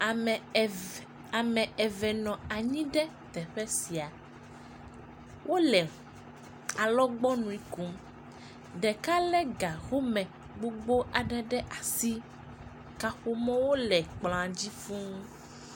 Ame evv. Ame eve nɔ anyi ɖe teƒe sia. Wole alɔgbɔnui kom. Ɖeka lé ga home gbogbo aɖe ɖe asi. Kaƒomɔwo le kplɔ̃a dzi fũu.